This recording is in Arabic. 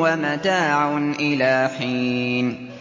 وَمَتَاعٌ إِلَىٰ حِينٍ